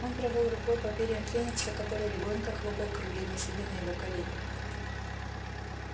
он провёл рукой по перьям феникса который легонько хлопал крыльями сидя на его колене